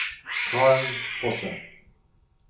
Karen Fosse